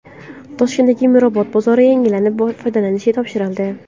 Toshkentdagi Mirobod bozori yangilanib, foydalanishga topshirildi.